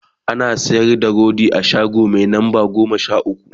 ana sayar da rodi a shago Mai lamba goma Sha ukwu